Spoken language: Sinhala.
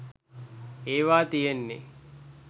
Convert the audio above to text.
ඒවා තියෙන්නේ